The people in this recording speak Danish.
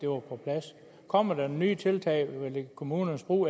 var på plads kommer der nogle nye tiltag om kommunernes brug